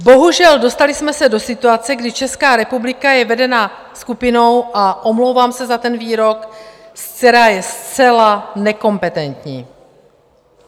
Bohužel, dostali jsme se do situace, kdy Česká republika je vedena skupinou - a omlouvám se za ten výrok - která je zcela nekompetentní.